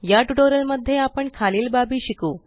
या ट्यूटोरियल मध्ये आपण खालील बाबी शिकू